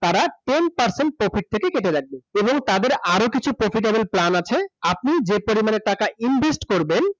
তারা ten percent profit কেটে রাখবে এবং তাদের আরো কিছু profitable plan আছে আপনি যে পরিমাণে টাকা invest করবেন